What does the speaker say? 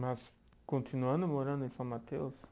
Mas continuando morando em São Mateus?